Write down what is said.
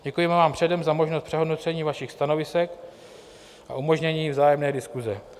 Děkujeme vám předem za možnost přehodnocení vašich stanovisek a umožnění vzájemné diskuse.